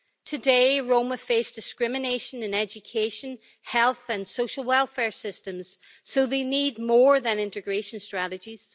Today Roma face discrimination in education, health and social welfare systems so they need more than integration strategies.